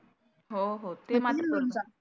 हो हो ते मात्र